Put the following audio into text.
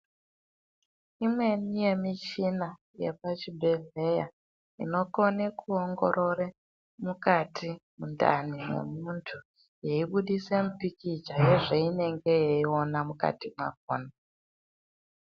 Imweni yemichina yepachibhedhleya inokona kuongorore mukati mundani memunthu yeibudisa mupikicha yezveinenge yeiona mukati mwakona.